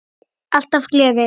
Alltaf gleði.